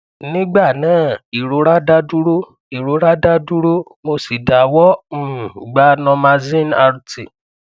nigba naa irora da duro irora da duro mo si dawọ um gba normaxin rt